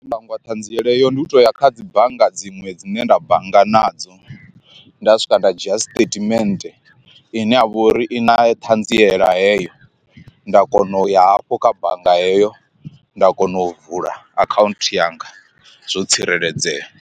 Nṋe ndo hangwa ṱhanziela heyo ndi u tou ya kha dzi bannga dziṅwe dzine nda bannga nadzo nda swika nda dzhia statement ine ya vha uri i na ṱhanziela heyo, nda kona u ya hafho kha bannga heyo nda kona u vula akhaunthu yanga zwo tsireledzea.